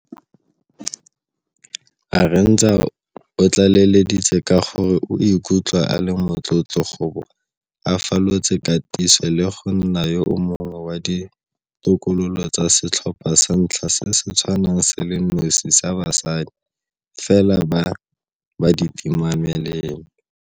Arendse o tlaleleditse ka gore o ikutlwa a le motlotlo go bo a falotse katiso le go nna yo mongwe wa ditokololo tsa setlhopha sa ntlha se se tshwanang se le nosi sa basadi fela ba batimamelelo.